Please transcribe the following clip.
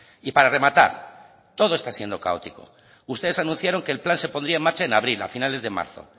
y para rematar todo está siendo caótico ustedes anunciaron que el plan se pondría en marcha en abril a finales de marzo